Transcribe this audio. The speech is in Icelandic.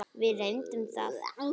Við reyndum það.